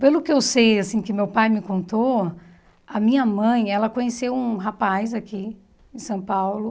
Pelo que eu sei, assim, que meu pai me contou, a minha mãe, ela conheceu um rapaz aqui em São Paulo.